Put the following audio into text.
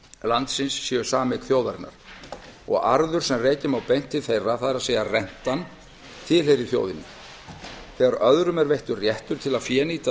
landsins séu sameign þjóðarinnar og arður sem rekja má beint til þeirra það er að rentan tilheyri þjóðinni þegar öðrum er veittur réttur til að fénýta